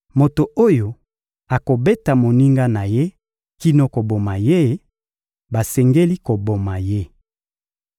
Moto oyo akobeta moninga na ye kino koboma ye, basengeli koboma ye.